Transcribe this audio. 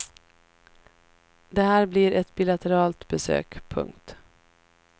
Det här blir ett bilateralt besök. punkt